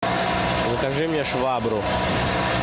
закажи мне швабру